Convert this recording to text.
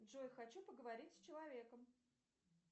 джой хочу поговорить с человеком